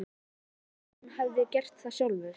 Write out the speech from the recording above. Ég sagði honum að hann hefði gert það sjálfur.